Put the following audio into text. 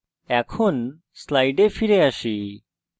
এখন slides ফিরে আসি